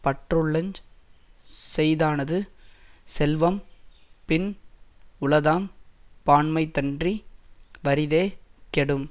பற்றுள்ளஞ் செய்தானது செல்வம் பின் உளதாம் பான்மைத்தன்றி வறிதே கெடும்